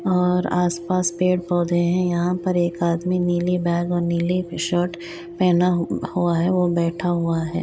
और आस-पास पेड़-पौधे है यहाँ पर एक आदमी नीली बैग और नीली टी-शर्ट पहना हुआ है और बैठा हुआ है